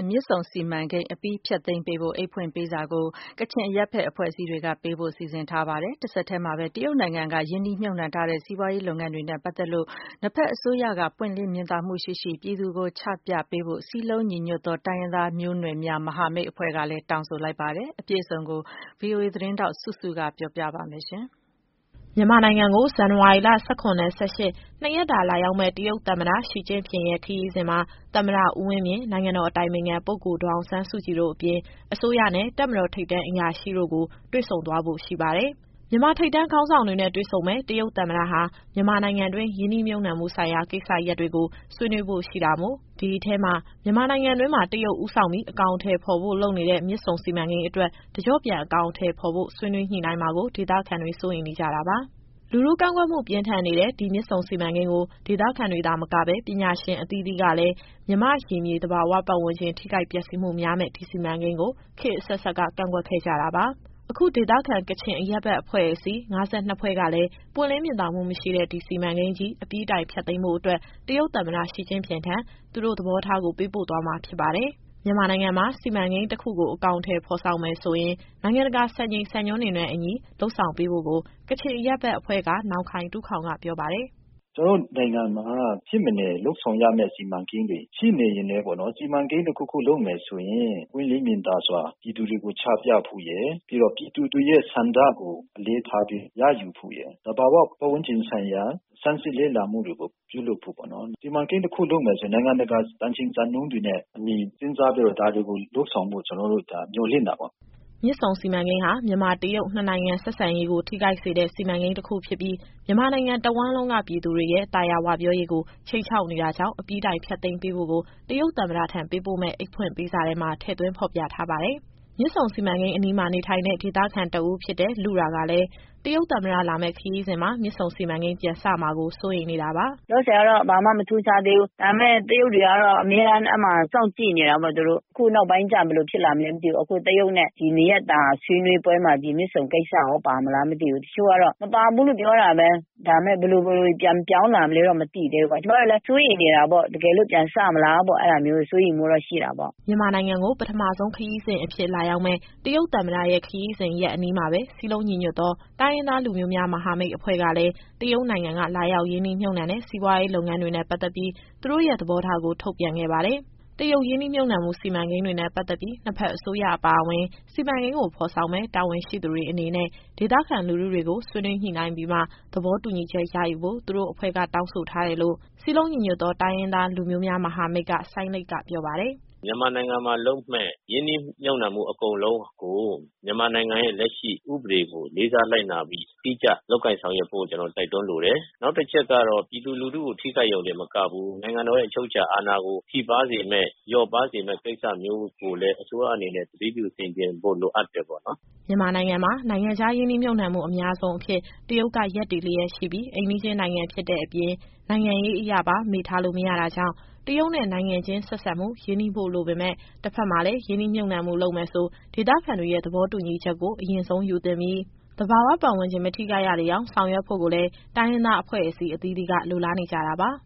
မြစ်ဆုံစီမံကိန်းအပြီးုတိုင် ဖျက်သိမ်းပေးဖို့ အိတ်ဖွင့်ပေးစာကို ကချင်အရပ်ဘက်အဖွဲ့အစည်းတွေက ပေးပို့ဖို့ စီစဉ်နေပါတယ်။ တဆက်တည်းမှာပဲ တရုတ်နိုင်ငံက ရင်းနှီးမြှုပ်နှံထားတဲ့ စီးပွားရေးလုပ်ငန်းတွေနဲ့ ပတ်သက်ပြီး နှစ်ဖက်အစိုးရက ပွင့်လင်းမြင်သာမှုရှိရှိ ပြည်သူကို ချပြပေးဖို့ စည်းလုံးညီညွတ်သော တိုင်းရင်းသားမျိုးနွယ်များ မဟာမိတ်အဖွဲ့ကလည်း တောင်းဆိုလိုက်ပါတယ်။ ဒီအကြောင်းအပြည့်အစုံကို ဗွီအိုအေသတင်းထောက် စုစုက ပြောပြသွားပါမယ်။ မြန်မာနိုင်ငံကို ဇန်နဝါရီလ ၁၇နဲ့ ၁၈ နှစ်ရက်တာ လာရောက်မယ့် တရုတ်သမ္မတ Xi Jinping ရဲ့ခရီးစဉ်မှာ သမ္မတ ဦးဝင်းမြင့်၊ နိုင်ငံတော်အတိုင်ပင်ခံပုဂ္ဂိုလ် ဒေါ်အောင်ဆန်းစုကြည်တို့အပြင် အစိုးရနဲ့ တပ်မတော်ထိပ်တန်းအရာရှိတို့ကို တွေ့ဆုံသွားဖို့ရှိပါတယ်။ မြန်မာ ထိပ်တန်း ခေါင်းဆောင်တွေနဲ့ တွေ့ ဆုံမယ့် တရုတ်သမ္မတ ဟာ မြန်မာ နိုင်ငံတွင်း ရင်းနှီး မြှုပ်နှံမှု ဆိုင်ရာ ကိစ္စရပ်တွေကို ဆွေးနွေးဖို့ ရှိတာမို့ ဒီအထဲမှာ မြန်မာနိုင်ငံတွင်းမှာ တရုတ် ဦးဆောင်ပြီး အကောင်အထည်ဖော်ဖို့ လုပ်နေတဲ့ မြစ်ဆုံစီမံကိန်းအတွက် တကျော့ပြန်အကောင်အထည် ဖော်ဖို့ ဆွေးနွေးညှိနှိုင်းမှာကို ဒေသခံတွေ စိုးရိမ်နေကြတာပါ။ လူထုကန့်ကွက်မှုပြင်းထန်နေတဲ့ ဒီမြစ်ဆုံစီမံကိန်းကို ဒေသခံတွေသာမကဘဲ ပညာရှင်အသီးသီးကလည်း မြန်မာ့ ရေမြေ သဘာဝပတ်ဝန်းကျင်ထိခိုက်ပျက်စီးမှု များမယ့် ဒီစီမံကိန်းကို ခေတ်အဆက်ဆက်က ကန့်ကွက်ခဲ့ကြတာပါ။ အခု ဒေသခံ ကချင်အရပ်ဘက်အဖွဲ့အစည်း ၅၂ဖွဲ့ကလည်း ပွင့်လင်းမြင်သာမှုမရှိတဲ့ ဒီစီမံကိန်းကြီး အပြီးတိုင်ဖျက်သိမ်းဖို့အတွက် တရုတ်သမ္မတရှီကျင့်ဖျင်ထံ သူတို့ရဲ့သဘောထားကို ပေးပို့သွားမှာ ဖြစ်ပါတယ်။ မြန်မာနိုင်ငံမှာ စီမံကိန်းတခုကို အကောင်အထည်ဖော်ဆောင်မယ်ဆိုရင် နိုင်ငံတကာ စံချိန်စံညွှန်းတွေနဲ့အညီ လုပ်ဆောင်ပေးဖို့ကို ကချင်အရပ်ဘက်အဖွဲ့က နောင်ခိုင်တူးခေါင်က ပြောပါတယ်။ “ကျနော်တို့နိုင်ငံမှာ မဖြစ်မနေလုပ်ဆောင်ရမယ့် စီမံကိန်းတွေ ရှိနေရင်လည်းပေါ့နော်။ စီမံကိန်းတခုခုလုပ်မယ်ဆိုရင် ပွင့်လင်းမြင်သာစွာ ပြည်သူတွေကိုချပြဖို့ရယ်၊ ပြီးတော့ ပြည်သူတွေရဲ့ဆန္ဒကို အလေးထားပြီး ရယူဖို့ရယ်၊ သဘာဝပတ်ဝန်းကျင်ဆိုင်ရာ ဆန်းစစ်လေ့လာမှုတွေကို ပြုလုပ်ဖို့ပေါ့နော်။ စီမံကိန်းတခုလုပ်မယ်ဆိုရင် နိုင်ငံတကာစံချိန်စံညွှန်းတွေနဲ့အညီ စဉ်းစားပြီးတော့ ဒါတွေကို လုပ်ဆောင်ဖို့ ကျနော်တို့မျှော်လင့်တာပေါ့။” မြစ်ဆုံစီမံကိန်းဟာ မြန်မာ-တရုတ် နှစ်နိုင်ငံဆက်ဆံရေးကို ထိခိုက်စေတဲ့ စီမံကိန်းတခုဖြစ်ပြီး မြန်မာနိုင်ငံတဝှမ်းလုံးက ပြည်သူတွေရဲ့ သာယာဝပြောရေးကို ခြိမ်းခြောက်နေတာကြောင့် အပြီးတိုင်ဖျက်သိမ်းပေးဖို့ကို တရုတ်သမ္မတထံ ပေးပို့မယ့်အိတ်ဖွင့်ပေးစာထဲ ထည့်သွင်းဖော်ပြထားပါတယ်။ မြစ်ဆုံစီမံကိန်းအနီးမှာနေထိုင်တဲ့ ဒေသခံ တဦးဖြစ်တဲ့ လုရာကလည်း တရုတ်သမ္မတလာမယ့်ခရီးစဉ်မှာ မြစ်ဆုံစီမံကိန်းပြန်စမှာကို စိုးရိမ်နေတာပါ။ “လောလောဆယ်ကတော့ ဘာမှမထူးခြားသေးဘူး။ ဒါပေမယ့် တရုတ်တွေကတော့ အမြဲတမ်းအဲဒီမှာ စောင့်ကြည့်နေတာပေါ့ သူတို့။ အခုနောက်ပိုင်းကျ ဘယ်လိုဖြစ်လာမလဲမသိဘူး။ အခုတရုတ်နဲ့ ဒီနှစ်ရက်တာဆွေးနွေးပွဲမှာ ဒီမြစ်ဆုံကိစ္စရော ပါမလားမသိဘူး။ တချို့ကတော့ မပါဘူးလို့ပြောတာပဲ။ ဒါပေမယ့် ဘယ်လိုပြန်ပြောင်းလာမလဲတော့ မသိဘူးသေးဘူးပေါ့။ ကျမတို့လည်း စိုးရိမ်နေတာပေါ့။ တကယ်လို့ပြန်စမလားပေါ့။ အဲဒါမျိုးစိုးရိမ်မှုတော့ ရှိတာပေါ့။” မြန်မာနိုင်ငံကို ပထမဆုံးခရီးစဉ်အဖြစ် လာရောက်မယ့် တရုတ်သမ္မတရဲ့ ခရီးစဉ်ရက်အနီးမှာပဲ စည်းလုံးညီညွတ်သော တိုင်းရင်းသားလူမျိုးများ မဟာမိတ်အဖွဲ့ကလည်း တရုတ်နိုင်ငံက လာရောက်ရင်းနှီးမြှုပ်နှံတဲ့ စီးပွားရေးလုပ်ငန်းတွေနဲ့ပတ်သက်ပြီး သူတို့ရဲ့ သဘောထားကို ထုတ်ပြန်ခဲ့ပါတယ်။ တရုတ်ရင်းနှီးမြှုပ်နှံမှု စီမံကိန်းတွေနဲ့ပတ်သက်ပြီး နှစ်ဖက်အစိုးရအပါအဝင် စီမံကိန်းကိုဖော်ဆောင်မယ့် တာဝန်ရှိသူတွေအနေနဲ့ ဒေသခံလူထုတွေကို ဆွေးနွေးညှိနှိုင်းပြီးမှ သဘောတူညီချက် ရယူဖို့ သူတို့ အဖွဲ့ က တောင်းဆိုတယ်လို့ စည်းလုံးညီညွတ်သောတိုင်းရင်းသား လူမျိုးများမဟာမိတ်က စိုင်းလိတ် ကပြော ပါတယ်။ “မြန်မာနိုင်ငံမှာလုပ်မယ့် ရင်းနှီးမြှုပ်နှံမှု အကုန်လုံးကို မြန်မာနိုင်ငံရဲ့ လက်ရှိဥပဒေကို လေးစားလိုက်နာပြီး အတိအကျလုပ်ကိုင်ဆောင်ရွက်ဖို့ ကျနော်တို့တိုက်တွန်းလိုတယ်။ နောက်တချက်ကတော့ ပြည်သူလူထုကို ထိခိုက်ရုံတင်မကဘဲ နိုင်ငံတော်ရဲ့အချုပ်အခြာအာဏာကို ထိပါးစေမယ့် လျှော့ပါးစေမယ့်ကိစ္စမျိုးကိုလည်း အစိုးရအနေနဲ့ သတိပြုဆင်ခြင်ဖို့ လိုအပ်တယ်ပေါ့နော်။” မြန်မာနိုင်ငံမှာ နိုင်ငံခြားရင်းနှီးမြှုပ်နှံမှု အများဆုံးအဖြစ် တရုတ်ကရပ်တည်လျက်ရှိပြီး အိမ်နီးချင်းနိုင်ငံဖြစ်တဲ့အပြင် နိုင်ငံရေးအရပါ မေ့ထားလို့မရတာကြောင့် တရုတ်နဲ့နိုင်ငံချင်းဆက်ဆံမှု ရင်းနှီးဖို့လိုပေမယ့် တဘက်မှာလည်း ရင်းနှီးမြှုပ်နှံမှုလုပ်မယ်ဆို ဒေသခံတွေရဲ့ သဘောတူညီချက်ကို အရင်ဆုံးယူသင့်ပြီး သဘာဝပတ်ဝန်းကျင် မထိခိုက်ရလေအောင် ဆောင်ရွက်ဖို့ကိုလည်း တိုင်းရင်းသားအဖွဲ့အစည်းအသီးသီးက လိုလားနေကြတာပါ။